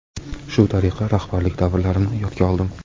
Shu tariqa rahbarlik davrlarimni yodga oldim.